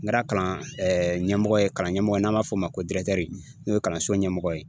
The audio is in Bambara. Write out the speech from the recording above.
N kɛra kalan ɲɛmɔgɔ ye kalanden mɔgɔ n'an b'a fɔ o ma ko n'o ye kalanso ɲɛmɔgɔ ye